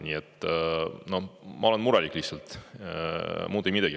Nii et ma olen murelik, muud ei midagi.